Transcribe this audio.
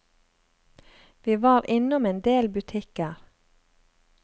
Vi var innom en del butikker.